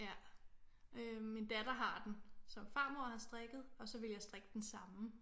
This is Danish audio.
Ja øh min datter har den som farmor har strikket og så ville jeg strikke den samme